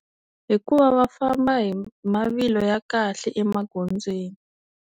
Hikuva va famba hi mavilo ya khale emagondzweni.